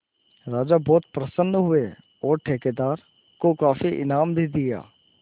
राजा बहुत प्रसन्न हुए और ठेकेदार को काफी इनाम भी दिया